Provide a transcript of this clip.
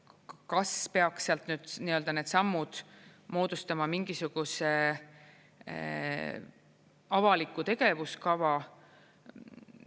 Kas peaks sealt nüüd need sammud moodustama mingisuguse avaliku tegevuskava?